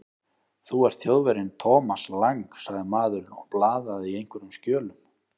Þú ert Þjóðverjinn Thomas Lang sagði maðurinn og blaðaði í einhverjum skjölum.